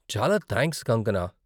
చాలా థాంక్స్ కాంగ్కనా!